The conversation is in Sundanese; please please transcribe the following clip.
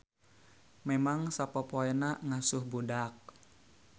Memang sapopoena ngasuh budak